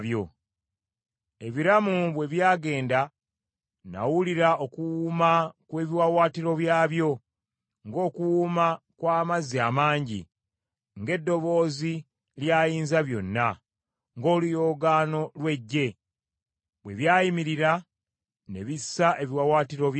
Ebiramu bwe byagenda, nawulira okuwuuma kw’ebiwaawaatiro byabyo, ng’okuwuuma kw’amazzi amangi, ng’eddoboozi lya Ayinzabyonna, ng’oluyoogaano lw’eggye. Bwe byayimirira, ne bissa ebiwaawaatiro byabyo.